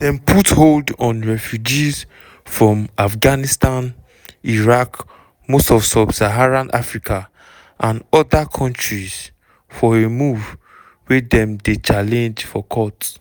dem put on hold refugees from afghanistan iraq most of sub-saharan africa and oda kontris for a move wey dem dey challenge for court.